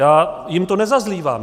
Já jim to nezazlívám.